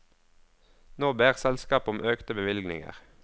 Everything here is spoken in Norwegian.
Nå ber selskapet om økte bevilgninger.